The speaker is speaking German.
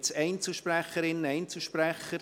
Gibt es Einzelsprecherinnen, Einzelsprecher?